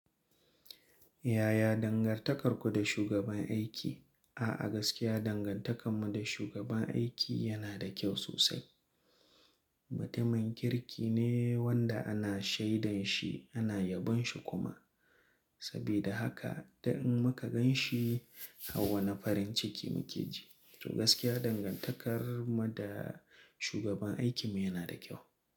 Yaya dangantakarku da shugaban aiki? A'a, gaskiya dangantakarmu da shugaban aiki yana da kyau sosai. Mutumin kirki ne wanda ana shaidan shi, ana yabon shi kuma. Saboda haka da in muka gan shi a wane farin ciki muke ji. To gaskiya dangantakar mu da shugaban aikinmu yana da kyau.